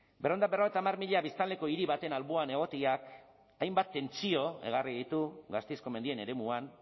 berrehun eta berrogeita hamar mila biztanleko hiri baten alboan egoteak hainbat tentsio ekarri ditu gasteizko mendien eremuan